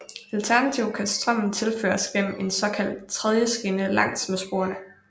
Alternativt kan strømmen tilføres gennem en såkaldt tredjeskinne langs med sporene